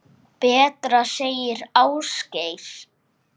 Betra, segir Ásgeir.